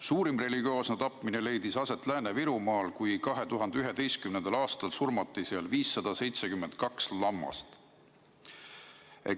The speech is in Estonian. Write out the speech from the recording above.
Suurim religioosne tapmine leidis aset Lääne-Virumaal 2011. aastal, kui seal surmati 572 lammast.